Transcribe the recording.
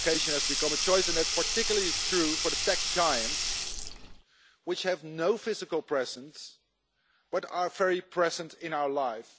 And location has become a choice, something that is particularly true for the tech giants, which have no physical presence but are very present in our lives.